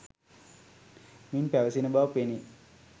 මින් පැවසෙන බව පෙනේ.